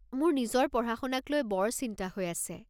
মোৰ নিজৰ পঢ়া-শুনাক লৈ বৰ চিন্তা হৈ আছে।